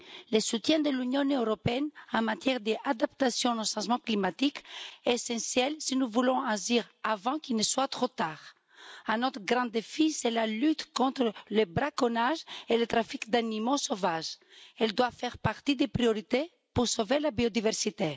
Le soutien de l'Union européenne en matière d'adaptation au changement climatique est essentiel si nous voulons agir avant qu'il ne soit trop tard. Autre grand défi, la lutte contre le braconnage et le trafic d'animaux sauvages, qui doit faire partie des priorités pour sauver la biodiversité.